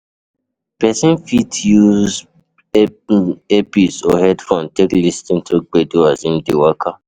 Person fit use earpice or headphone take lis ten to gbedu as im dey waka